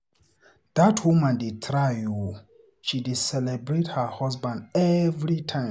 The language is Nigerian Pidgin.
Dat woman dey try oo, she dey celebrate her husband every time.